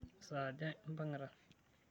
Saa aja impang'ita?